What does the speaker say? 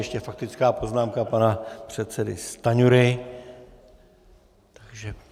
Ještě faktická poznámka pana předsedy Stanjury.